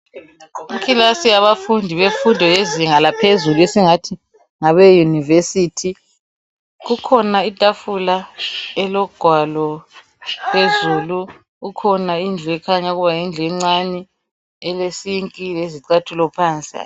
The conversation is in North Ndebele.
Ikilasi yabafundi bemfundo yezinga laphezulu esingathi ngabe University. Kukhona itafula elogwalo phezulu, kukhona indlu ekhanya ukuba yindlu encane elesink lezicathulo phansi.